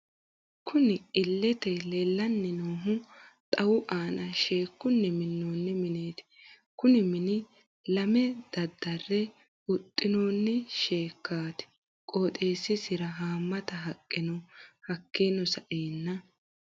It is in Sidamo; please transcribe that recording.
Kunni illete leelani noohu xawu aana sheekunni minonni mineeti kunni mini leema dadare huxinoonni sheekati qoxeesisira haamata haqqe no hakiino sa'eena....